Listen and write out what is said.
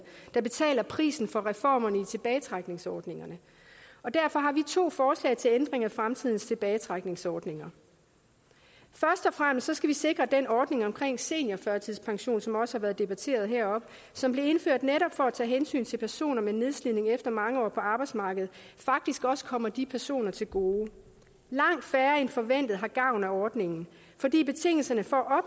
der betaler prisen for reformerne i tilbagetrækningsordningerne og derfor har vi to forslag til ændring af fremtidens tilbagetrækningsordninger først og fremmest skal vi sikre at ordningen om seniorførtidspension som også har været debatteret her og som blev indført netop for at tage hensyn til personer med nedslidning efter mange år på arbejdsmarkedet faktisk også kommer de personer til gode langt færre end forventet har gavn af ordningen fordi betingelserne for